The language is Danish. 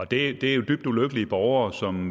det er jo dybt ulykkelige borgere som